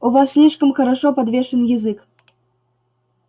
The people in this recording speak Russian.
у вас слишком хорошо подвешен язык